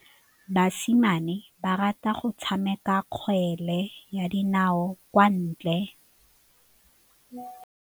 Basimane ba rata go tshameka kgwele ya dinaô kwa ntle.